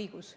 õigus.